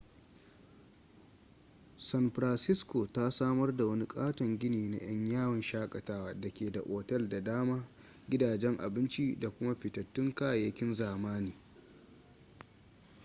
san francisco ta samar da wani katon gini na 'yan yawon shakatawa da ke da otal da dama gidajen abinci da kuma fitattun kayayyakin zamani